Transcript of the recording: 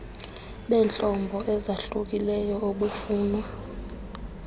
beentlobo ezahlukileyo obufunwa